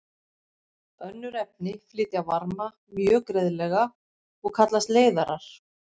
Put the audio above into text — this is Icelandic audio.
Önnur efni flytja varma mjög greiðlega og kallast leiðarar.